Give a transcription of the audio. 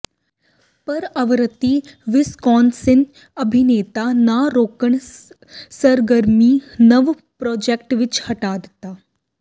ਪਰ ਆਵਰਤੀ ਵਿਸਕੌਨਸਿਨ ਅਭਿਨੇਤਾ ਨਾ ਰੋਕਣ ਸਰਗਰਮੀ ਨਵ ਪ੍ਰਾਜੈਕਟ ਵਿਚ ਹਟਾ ਦਿੱਤਾ